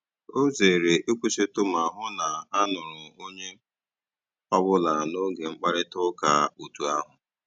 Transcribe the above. Ọ zèrè ị̀kwụ́sị̀tụ́ mà hụ́ na a nụ̀rù ònyè ọ́bụ́là n'ógè mkpáịrịtà ụ́ka otù ahụ́.